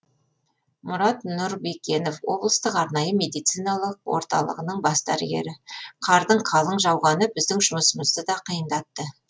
мұрат нұрбекенов облыстық арнайы медициналық орталығының бас дәрігері қардың қалың жауғаны біздің жұмысымызды да қиындатты